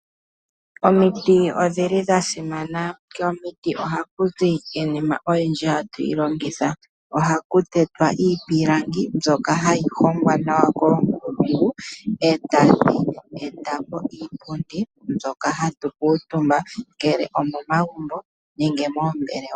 Omiiti odhili dhasimana, komiiti oha kuzi iinima oyindji hatuyi longitha ohaku tetwa iipilangi mbyoka hayi hongwa nawa koonkulungu e tadhi e ta po iipundi mbyoka hatu kutumba ngele omomagumbo nenge mombelewa.